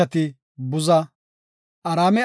entika bayray Uxa; Uxa ishati Buza,